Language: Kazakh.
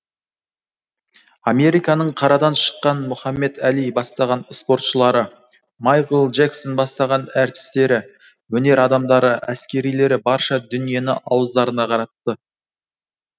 американың қарадан шыққан мұхамед али бастаған спортшылары майкл джексон бастаған әртістері өнер адамдары әскерилері барша дүниені ауыздарына қаратты